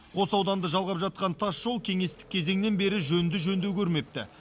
қос ауданды жалғап жатқан тасжол кеңестік кезеңнен бері жөнді жөндеу көрмепті